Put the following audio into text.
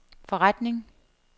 forretning